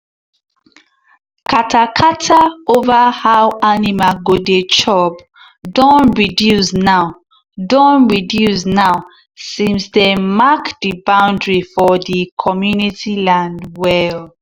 kata-kata over how animal go dey chop don reduce now don reduce now since dem mark the boundary for the community land well.